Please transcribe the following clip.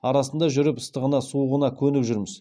арасында жүріп ыстығына суығына көніп жүрміз